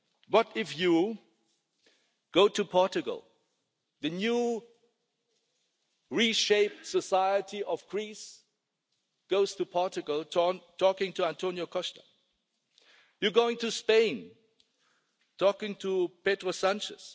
What if you go to Portugal? The newly-reshaped society of Greece goes to Portugal, talks to António Costa. You go to Spain, and talk to Pedro Sánchez.